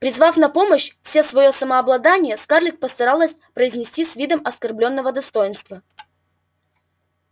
призвав на помощь все своё самообладание скарлетт постаралась произнести с видом оскорблённого достоинства